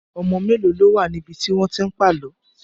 Ọmọ mélòó ló wà níbi tí wọ́n ti ń pàlọ́?